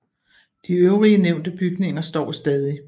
De øvrige nævnte bygninger står stadig